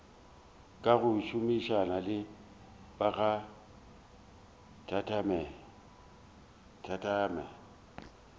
ka go šomišana le bakgathatema